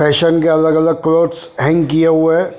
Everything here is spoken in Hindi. फैशन के अलग अलग क्लोथस हेंक किये हुए है।